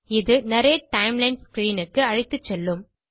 இது narrate timeline screenக்கு அழைத்துசெல்லும்